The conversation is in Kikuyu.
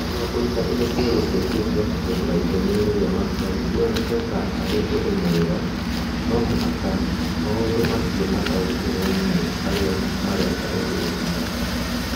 Nĩguo kũruta indo cia gũcenjia cia kũhũthĩra ithenya-inĩ rĩa matigari kuoneke ta arĩ ũndũ mwega, no mũhaka maũndũ macio mataũkĩrũo nĩ arĩa mareka ũndũ ũcio.